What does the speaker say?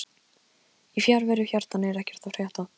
Í fjarveru hjartans er ekkert að frétta